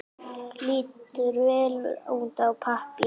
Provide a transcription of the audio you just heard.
Lítur vel út á pappír.